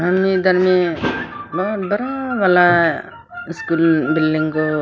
सामने में बहुत बड़ा वाला स्कूल बिल्डिंग को--